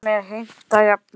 Sumir heimta jafnvel